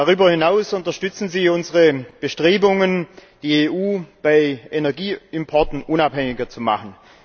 Darüber hinaus unterstützen sie unsere Bestrebungen, die EU von Energieimporten unabhängiger zu machen.